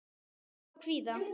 Saga af kvíða.